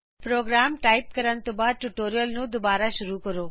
programme type ਕਰਨ ਤੋਂ ਬਾਅਦ ਟਯੂਟੋਰੀਅਲ ਨੂੰ ਦੋਬਾਰਾ ਸ਼ੁਰੂ ਕਰੋ